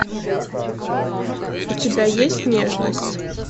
у тебя есть нежность